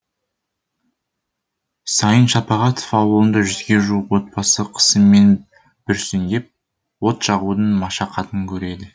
сайын шапағатов ауылында жүзге жуық отбасы қысымен бүрсеңдеп от жағудың машақатын көреді